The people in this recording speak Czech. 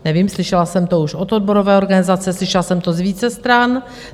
Nevím, slyšela jsem to už od odborové organizace, slyšela jsem to z více stran.